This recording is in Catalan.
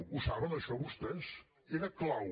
ho saben això vostès era clau